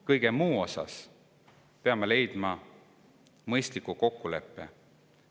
Kõige muu seas peame leidma mõistliku kokkuleppe.